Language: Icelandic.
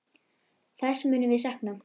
Þess munum við sakna.